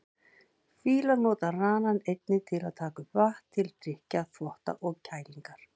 Fílar nota ranann einnig til að taka upp vatn, til drykkjar, þvotta og kælingar.